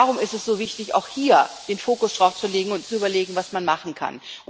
Und darum ist es so wichtig, auch hier den Fokus darauf zu legen und zu überlegen, was man machen kann.